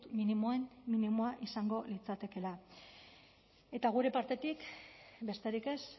minimoen minimoa izango litzatekeela eta gure partetik besterik ez